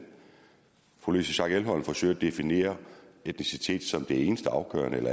fru louise schack elholm forsøger at definere etnicitet som det eneste afgørende det